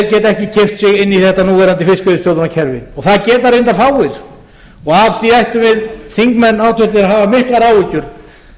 sig inn í þetta núverandi fiskveiðistjórnarkerfi það geta reyndar fáir og af því ættum við háttvirtir þingmenn að hafa miklar áhyggjur